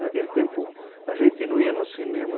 Naquele tempo, a gente não ia no cinema.